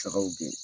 Sagaw be